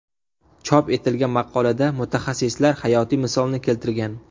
Chop etilgan maqolada mutaxassislar hayotiy misolni keltirgan.